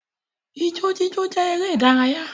Ijó jíjó jẹ́ eré ìdárayá